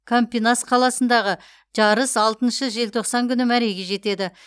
кампинас қаласындағы жарыс алтыншы желтоқсан күні мәреге жетеді